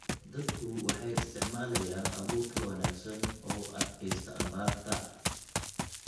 Dadku waxay isticmaalayaan abuur ka wanaagsan oo u adkaysta abaarta.